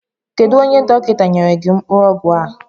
Kedu onye dọkịta nyere gị mkpụrụ ọgwụ a?